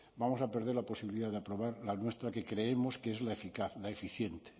vamos a perder la posibilidad de aprobar la nuestra que creemos que es la eficaz la eficiente